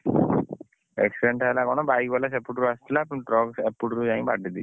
Accident ଟା ହେଲା କଣ bike ବାଲା ସେପଟରୁ ଆସୁଥିଲା truck ଏଇପଟରୁ ଯାଇକି ବାଡ଼େଇ ଦେଇଛି